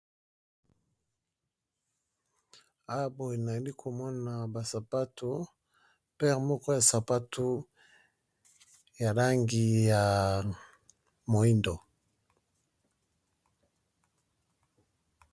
Awa boye nalukomona ba sapatu ba sapatu esa NABA Langi ya mohindo